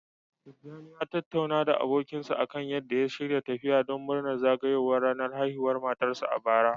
Tijani ya tattauna da abokinsa akan yadda ya shirya tafiya don murnar zagayowar ranar haihuwar matarsa, bara.